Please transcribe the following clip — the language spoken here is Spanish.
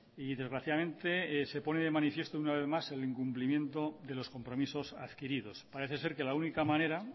y desgraciadamente se pone de manifiesto una vez más el incumplimiento de los compromisos adquiridos parece ser que la única manera